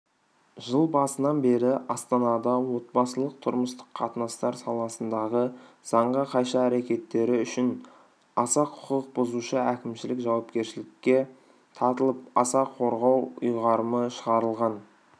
жыл басынан бері астанада отбасылық-тұрмыстық қатынастар саласындағы заңға қайшы әрекеттері үшін аса құқық бұзушы әкімшілік жауапкершілікке тартылып аса қорғау ұйғарымы шығарылған